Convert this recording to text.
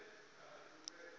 dzothe na u ita tsheo